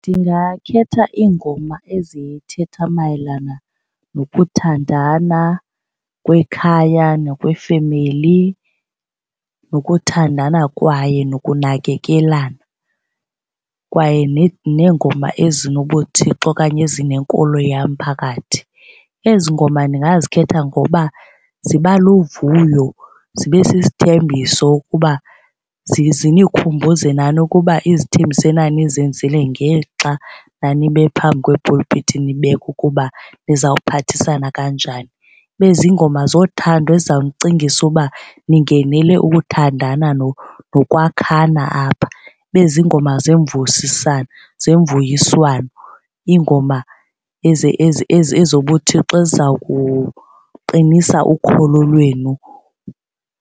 Ndingakhetha iingoma ezithetha mayelana nokuthandana kwekhaya nokwefemeli nokuthandana kwaye nokunakekelana kwaye neengoma ezinobuThixo okanye ezinenkolo yam phakathi. Ezi ngoma ndingazikhetha ngoba ziba luvuyo, zibe sisithembiso ukuba zinikhumbuze nani ukuba izithembiso enanizenzile ngexa nanime phambi kwepulpiti nibeka ukuba nizawuphathisana kanjani. Ibe ziingoma zothando ezizawunicingisa uba ningenele ukuthandana nokwakhana apha. Ibe ziingoma zemvusiswano zemvuyiswano iingoma ezobuThixo ezizawuqinisa ukholo lwenu.